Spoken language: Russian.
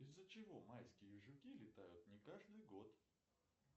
из за чего майские жуки летают не каждый год